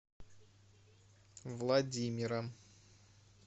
владимира